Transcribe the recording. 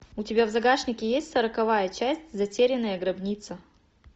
у тебя в загашнике есть сороковая часть затерянная гробница